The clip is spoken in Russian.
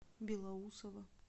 белоусово